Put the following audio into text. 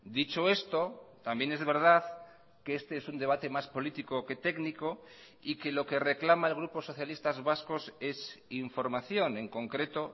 dicho esto también es verdad que este es un debate más político que técnico y que lo que reclama el grupo socialistas vascos es información en concreto